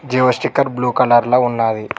Jio sticker blue colour లో ఉన్నాది.